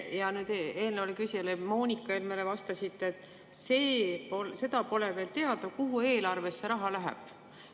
Aga eelnevale küsijale, Moonika Helmele, te vastasite, et see pole veel teada, kuhu eelarves see raha läheb.